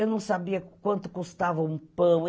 Eu não sabia quanto custava um pão.